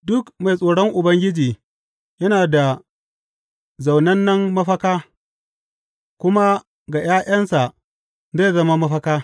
Duk mai tsoron Ubangiji yana da zaunannen mafaka, kuma ga ’ya’yansa zai zama mafaka.